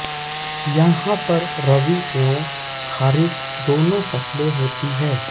यहा पर रबी व खरीफ् दोनो फसले होती है